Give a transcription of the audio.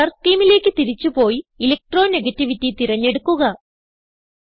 colour scheme തിരിച്ച് പോയി electronegativity തിരഞ്ഞെടുക്കുക